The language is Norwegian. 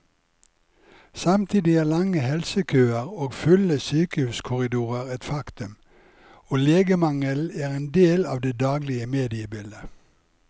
Samtidig er lange helsekøer og fulle sykehuskorridorer et faktum, og legemangelen er en del av det daglige mediebildet.